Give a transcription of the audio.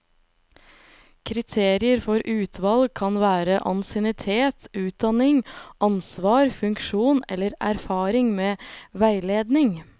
Kriterier for utvalg kan være ansiennitet, utdanning, ansvar, funksjon eller erfaring med veiledning.